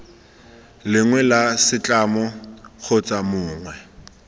lengwe la setlamo kgotsa mongwe